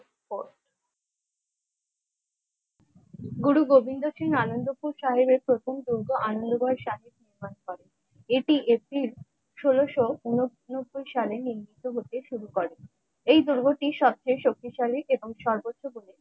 গুরু গোবিন্দ সিং আনন্দপুর সাহেবের প্রথম দুর্গ আনন্দ গড় সাহেব প্রতিষ্ঠান করেন এটি এপ্রিল ষোলশ উুনো সত্তর সালে নিযুক্ত হতে শুরু করে এই দুর্গটি সবচেয়ে শক্তিশালী এবং সর্বোচ্চ প্রবণ